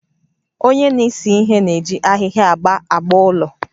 Onye na-ese ihe na-eji ahịhịa agba agba ụlọ